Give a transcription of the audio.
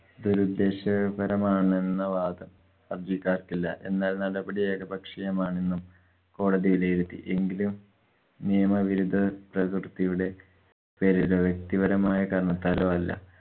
ദുരുദ്ദേശപരമാണെന്ന വാദം ഹര്‍ജിക്കാര്‍ക്കില്ല. എന്നാല്‍ നടപടി ഏകപക്ഷീയമാണെന്നും കോടതി വിലയിരുത്തി. എങ്കിലും നിയമ വിരുദ്ധ പ്രവര്‍ത്തിയുടെ പേരിലോ വ്യക്തിപരമായ കാരണത്താലോ അല്ല